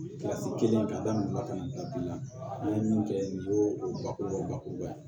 kelen ka da wulula ka na bila bi la n'i ye min kɛ nin y'o o bakuruba o bakuruba ye